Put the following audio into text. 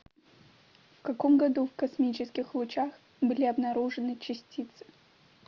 в каком году в космических лучах были обнаружены частицы